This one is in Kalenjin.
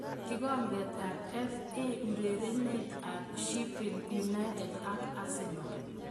Kikombet ab FA: Urerenet ab Sheffield United ak Arsenal.